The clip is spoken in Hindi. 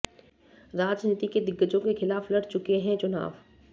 राजनीति के दिग्गजों के खिलाफ लड़ चुके हैं चुनाव